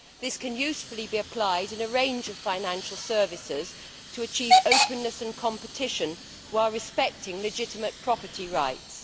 This can usefully be applied in a range of financial services to achieve openness and competition, while respecting legitimate property rights.